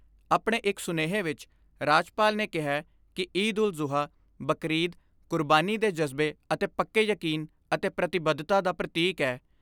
ਆਪਣੇ ਇਕ ਸੁਨੇਹੇ ਵਿਚ ਰਾਜਪਾਲ ਨੇ ਕਿਹੈ ਕਿ ਈਦ ਉਲ ਜ਼ੁਹਾ ਯਾਨੀ ਬਕਰਈਦ ਕੁਰਬਾਨੀ ਦੇ ਜਜ਼ਬੇ ਅਤੇ ਪੱਕੇ ਯਕੀਨ ਅਤੇ ਪ੍ਰਤੀਬੱਧਤਾ ਦਾ ਪ੍ਰਤੀਕ ਏ।